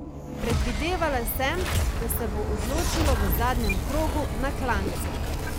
Predvidela sem, da se bo odločilo v zadnjem krogu, na klancu.